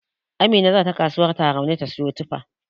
Amina zata kasuwar Tarauni ta siyo tufa.